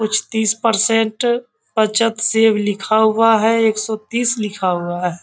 कुछ तीस परसेंट बचत सेव लिखा हुआ है एक सौ तीस लिखा हुआ है।